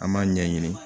An b'a ɲɛɲini